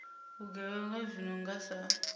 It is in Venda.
vhugevhenga zwi no nga sa